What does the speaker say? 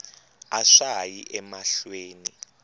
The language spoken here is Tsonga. a swa ha yi emahlweni